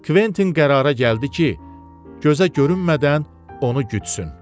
Kventin qərara gəldi ki, gözə görünmədən onu gütsün.